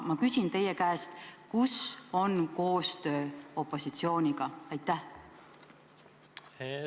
Ma küsin teie käest: kus on koostöö opositsiooniga?